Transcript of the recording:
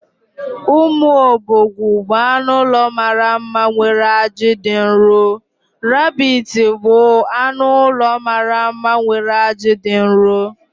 Umu obogwu bụ anụ ụlọ mara mma nwere aji dị nro. Rabbits bụ anụ ụlọ mara mma nwere aji dị nro.